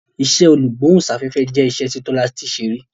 iṣé olugbohunsafefe jẹ iṣẹ ti Tola ṣe rí.